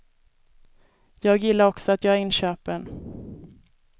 Jag gillar också att göra inköpen.